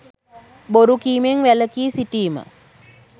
බොරු කීමෙන් වැළකී සිටීම